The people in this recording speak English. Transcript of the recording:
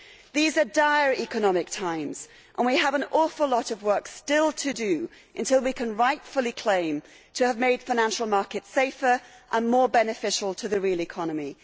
These are dire economic times and we have an awful lot of work still to do before we can rightfully claim to have made financial markets safer and more beneficial to the real economy.